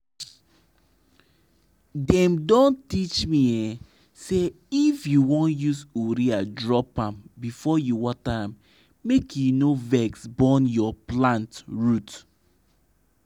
de song dey hail ground wey no dey rush the rain wey dey bless plus powa wey chicken shit(cow or goat shit) get